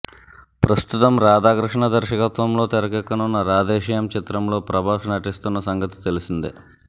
ప్రస్తుతం రాధాకృష్ణ దర్శకత్వంలో తెరకెక్కనున్న రాధేశ్యామ్ చిత్రంలో ప్రభాస్ నటిస్తున్న సంగతి తెలిసిందే